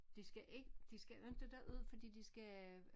De skal ikke de skal inte derud fordi de skal